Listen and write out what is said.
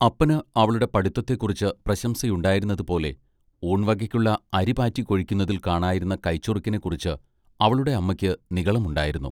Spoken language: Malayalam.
അപ്പന് അവളുടെ പഠിത്വത്തെക്കുറിച്ച് പ്രശംസയുണ്ടായിരുന്നതുപോലെ ഊൺവകയ്ക്കുള്ള അരി പാറ്റി കൊഴിക്കുന്നതിൽ കാണായിരുന്ന കൈച്ചുറുക്കിനെക്കുറിച്ച് അവളുടെ അമ്മയ്ക്ക് നിഗളം ഉണ്ടായിരുന്നു.